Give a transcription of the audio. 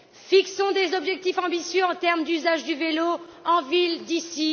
Fixons des objectifs ambitieux en termes d'usage du vélo en ville d'ici